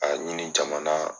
A ɲini jamana